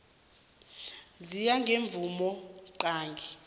ziya ngemvumo qange